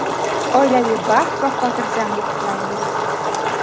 oilaviy baxt va hotirjamlik tilaymiz!.